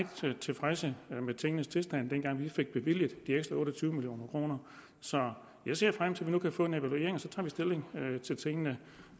tilfredse med tingenes tilstand dengang vi fik bevilget de ekstra otte og tyve million kroner så jeg ser frem til at vi nu kan få en evaluering og så tager vi stilling til tingene